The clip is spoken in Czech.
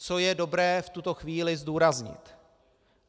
Co je dobré v tuto chvíli zdůraznit?